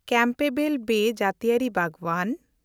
Campbell bay ᱡᱟᱹᱛᱤᱭᱟᱹᱨᱤ ᱵᱟᱜᱽᱣᱟᱱ